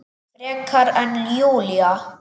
Frekar en Júlía.